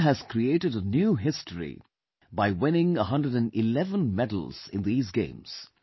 India has created a new history by winning 111 medals in these games